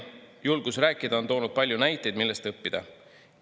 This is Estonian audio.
Julgus rääkida on toonud palju näiteid, millest õppida.